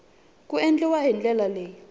ku endliwa hi ndlela leyi